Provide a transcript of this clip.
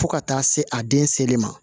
Fo ka taa se a den seli ma